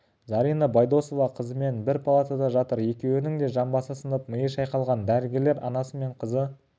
зарина байдосова қызымен бір палатада жатыр екеуінің де жамбасы сынып миы шайқалған дәрігерлер анасы мен қызы